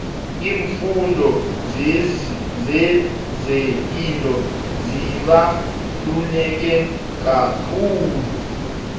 iimfundo zezepilo zibaluleke kakhulu